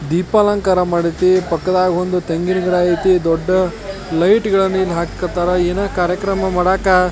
ದೀಪಾಲಂಕಾರ ಮಾದೈತಿ ಪಕ್ಕದಾಗ್ ಒಂದು ತೆಂಗಿನ ಗಿಡ ಐತಿ ದೊಡ್ಡ ಲೈಟ್ಗಳನ್ನು ಇಲ್ಲಿ ಹಾಕಕ್ ಹತ್ತರ ಏನೋ ಕಾರ್ಯಕ್ರಮ ಮಾಡಾಕ --